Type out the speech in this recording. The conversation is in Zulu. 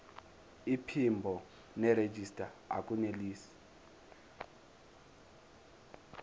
iphimbo nerejista akunelisi